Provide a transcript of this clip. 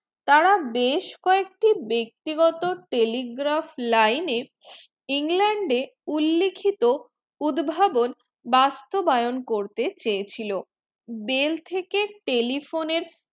তারা বেশ কয়েকটি ব্যক্তিগত telegraph lineengland উল্লেখিত উদ্ভাবন বাস্তবায়ন করতে চেয়েছিল bell থেকে telephone এর